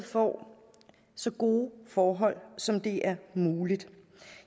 får så gode forhold som det er muligt